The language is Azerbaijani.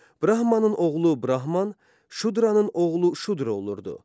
Brahmanın oğlu brahman, şudranın oğlu şudra olurdu.